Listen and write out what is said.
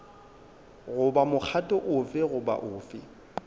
goba mokgatlo ofe goba ofe